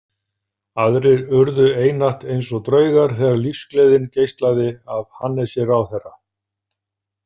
Aðrir urðu einatt eins og draugar þegar lífsgleðin geislaði af Hannesi ráðherra.